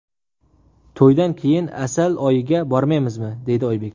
To‘ydan keyin asal oyiga bormaymiz”, deydi Oybek.